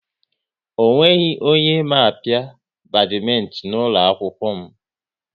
Ọ nweghị onye ma apia badmintin n'ụlọ akwụkwọ m